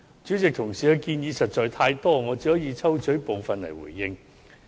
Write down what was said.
主席，同事的建議實在太多，我只可抽取部分來回應。